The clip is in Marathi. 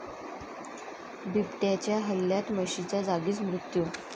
बिबट्याच्या हल्ल्यात म्हशीचा जागीच मृत्यू